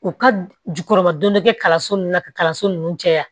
U ka jukɔrɔba don bɛ kɛ kalanso nunnu na ka kalanso nunnu jɛya